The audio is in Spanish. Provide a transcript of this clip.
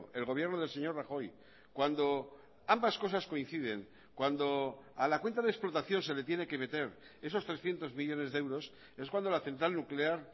el gobierno del señor rajoy cuando ambas cosas coinciden cuando a la cuenta de explotación se le tiene que meter esos trescientos millónes de euros es cuando la central nuclear